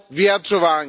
vyjadřování.